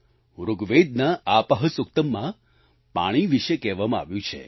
ઋગ્વેદના આપઃ સુક્તમ માં પાણી વિશે કહેવામાં આવ્યું છે